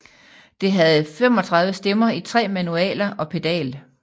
Det havde 35 stemmer i 3 manualer og pedal